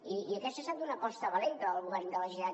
i aquesta ha estat una aposta valenta del govern de la generalitat